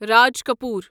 Raj Kapoor